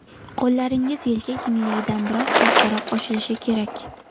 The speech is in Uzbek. Qo‘llaringiz yelka kengligidan biroz kattaroq ochilishi kerak.